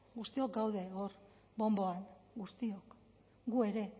guztiok gaude hor bonboan guztiok gu ere